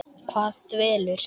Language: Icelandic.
Hvað dvelur?